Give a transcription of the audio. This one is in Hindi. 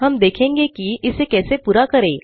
हम देखेगे कि इसे कैसे पूरा करें